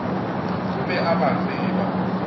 o be a ba tseba